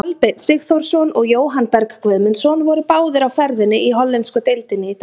Kolbeinn Sigþórsson og Jóhann Berg Guðmundsson voru báðir á ferðinni í hollensku deildinni í dag.